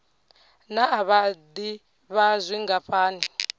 naa vha d ivha zwingafhani